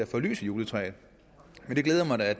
få lys i juletræet men det glæder mig da